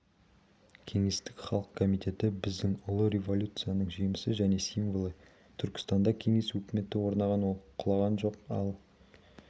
кеңестік халық комитеті біздің ұлы революцияның жемісі және символы түркістанда кеңес өкіметі орнаған ол құлаған жоқ ал